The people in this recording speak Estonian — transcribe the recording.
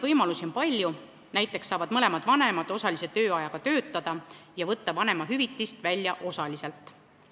Võimalusi on palju, näiteks saavad mõlemad vanemad osalise tööajaga töötada ja võtta vanemahüvitist välja osaliselt.